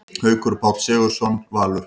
Haukur Páll Sigurðsson, Valur